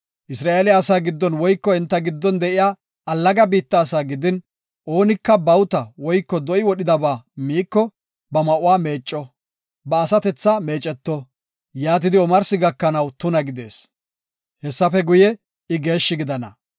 “Isra7eele asaa gidin woyko enta giddon de7iya allaga biitta asaa gidin, oonika bawuta woyko do7i wodhidaba miiko, ba ma7uwa meecco; ba asatethaa meeceto; yaatidi omarsi gakanaw tuna gidees. Hessafe guye, I geeshshi gidana.